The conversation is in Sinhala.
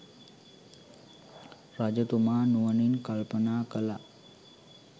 රජතුමා නුවණින් කල්පනා කළා.